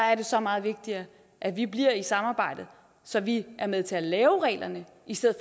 er så meget vigtigere at vi bliver i samarbejdet så vi er med til at lave reglerne i stedet